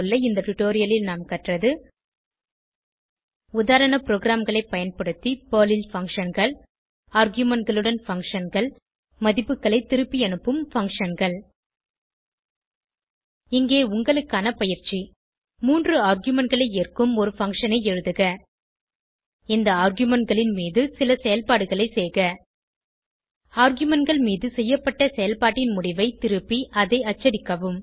இந்த டுடோரியலில் நாம் கற்றது உதாரண ப்ரோகிராம்களை பயன்படுத்தி பெர்ல் ல் Functionகள் argumentகளுடன் functionகள் மதிப்புகளை திருப்பியனுப்பும் functionகள் இங்கே உங்களுக்கான பயிற்சி 3 ஆர்குமென்ட் களை ஏற்கும் ஒரு பங்ஷன் ஐ எழுதுக இந்த ஆர்குமென்ட் களின் மீது சில செயல்பாடுகளை செய்க argumentகள் மீது செய்யப்பட்ட செயல்பாட்டின் முடிவை திருப்பி அதை அச்சடிக்கவும்